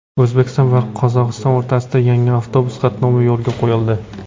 O‘zbekiston va Qozog‘iston o‘rtasida yangi avtobus qatnovi yo‘lga qo‘yildi.